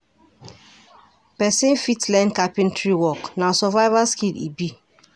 Pesin fit learn carpentary work, na survival skill e be.